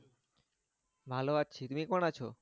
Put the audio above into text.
ভালো আছি। তুমি কেমন আছো?